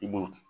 I b'o